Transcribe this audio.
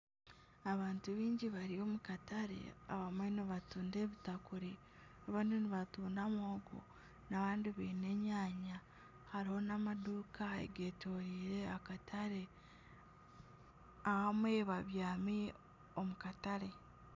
Abantu baingi bari omu katare, abamwe nibatunda ebitakuri, abandi nibatunda muhogo, n'abandi baine enyanya, hariho nana amaduuka agetoreire akatare abamwe babyami omukatare.